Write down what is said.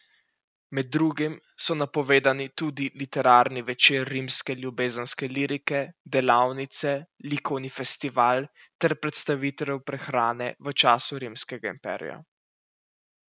Med drugim so napovedani tudi literarni večer rimske ljubezenske lirike, delavnice, likovni festival ter predstavitev prehrane v času rimskega imperija.